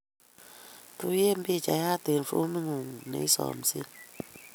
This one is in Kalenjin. Tuyen pichayat eng' fomit ng'ung' neisomse.